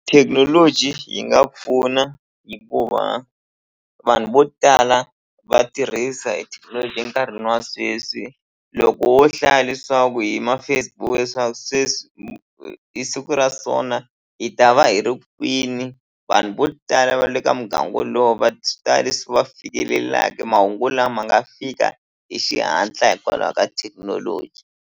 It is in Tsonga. Thekinoloji yi nga pfuna hikuva vanhu vo tala va tirhisa e thekinoloji enkarhini wa sweswi loko wo hlaya leswaku hi ma-Facebook leswaku sweswi hi siku ra so na hi ta va hi ri kwini vanhu vo tala va le ka muganga wolowo va swi ta leswi va fikelelaka mahungu lama nga fika hi xihatla hikwalaho ka thekinoloji.